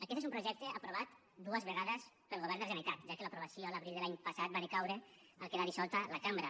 aquest és un projecte aprovat dues vegades pel govern de la generalitat ja que l’aprovació l’abril de l’any passat va decaure al quedar dissolta la cambra